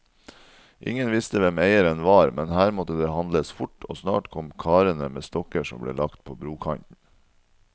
Ingen visste hvem eieren var, men her måtte det handles fort, og snart kom karene med stokker som ble lagt på brokanten.